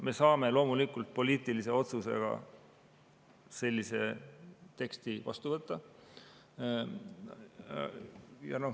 Me saame loomulikult poliitilise otsusega sellise teksti vastu võtta.